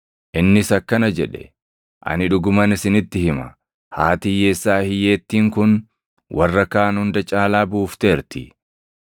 Innis akkana jedhe; “Ani dhuguman isinitti hima; haati hiyyeessaa hiyyeettiin kun warra kaan hunda caalaa buufteerti.